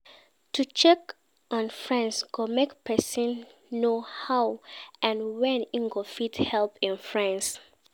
To check on friends go make persin know how and when im go fit help im friends